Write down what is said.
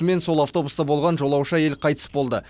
мен сол автобуста болған жолаушы әйел қайтыс болды